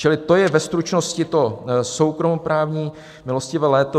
Čili to je ve stručnosti to soukromoprávní "milostivé léto".